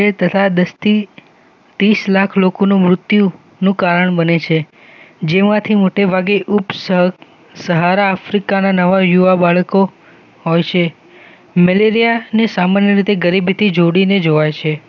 તથા દૃષ્ટિ તીસલાખ લોકો મૃત્યુનું કારણ બને છે જેમાંથી મોટેભાગે ઉપ સહારા આફ્રીકા નવા યુવા બાળકો હોય છે મેલેરિયા ને સામાન્ય રીતે ગરીબીથી જોડીને જોવાય છે